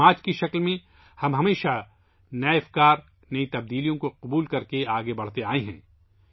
ایک معاشرے کے طور پر، ہم ہمیشہ نئے خیالات، نئی تبدیلیوں کو قبول کرتے ہوئے آگے بڑھتے ہیں